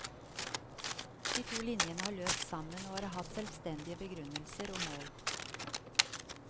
De to linjene har løpt sammen og har hatt selvstendige begrunnelser og mål.